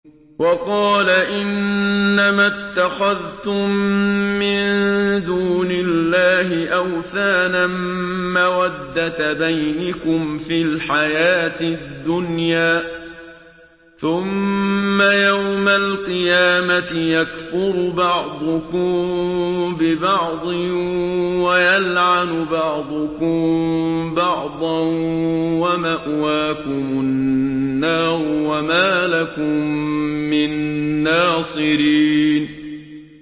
وَقَالَ إِنَّمَا اتَّخَذْتُم مِّن دُونِ اللَّهِ أَوْثَانًا مَّوَدَّةَ بَيْنِكُمْ فِي الْحَيَاةِ الدُّنْيَا ۖ ثُمَّ يَوْمَ الْقِيَامَةِ يَكْفُرُ بَعْضُكُم بِبَعْضٍ وَيَلْعَنُ بَعْضُكُم بَعْضًا وَمَأْوَاكُمُ النَّارُ وَمَا لَكُم مِّن نَّاصِرِينَ